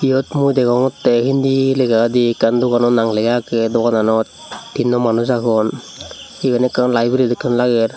yot mui degongotte hindi legadi ekkan dogano nang lega aage dogananot tinno manuch agon iban ekkan library dokke lager.